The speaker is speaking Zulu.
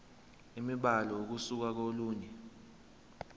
imibhalo ukusuka kolunye